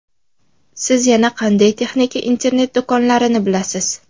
Siz yana qanday texnika internet-do‘konlarini bilasiz?